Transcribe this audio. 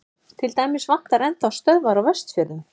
til dæmis vantar enn þá stöðvar á vestfjörðum